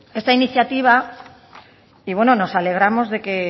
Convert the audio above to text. esta iniciativa y bueno nos alegramos de que